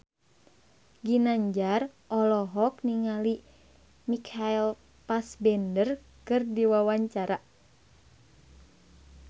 Ginanjar olohok ningali Michael Fassbender keur diwawancara